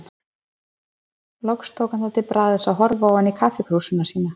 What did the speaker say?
Loks tók hann það til bragðs að horfa ofan í kaffikrúsina sína.